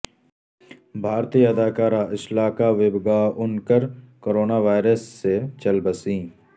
بھارتی اداکارہ Ashalata Wabgaonkar corona virus سے چل بسیں